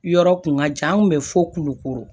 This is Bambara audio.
Yɔrɔ kun ka jan an kun bɛ fo kulukoro